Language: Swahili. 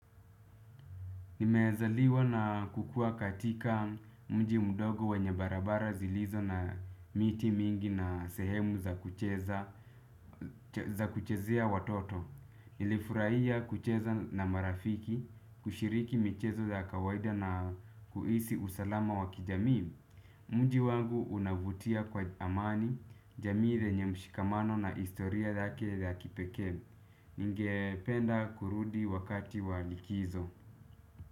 Nimeazaliwa na kukuwa katika mji mdogo wenye barabara zilizo na miti mingi na sehemu za kuchezea watoto. Nilifurahia kucheza na marafiki, kushiriki michezo za kawaida na kuhisi usalama wa kijamii. Mji wangu unavutia kwa amani, jamii lenye mshikamano na historia lake la kipeke. Ningependa kurudi wakati wa likizo.